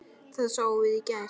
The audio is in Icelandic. Það sáum við í gær.